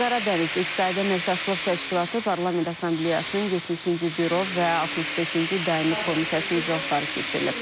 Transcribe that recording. Qaradəniz İqtisadi Əməkdaşlıq Təşkilatı Parlament Assambleyasının 70-ci Büro və 65-ci Daimi Komitəsinin iclasları keçirilib.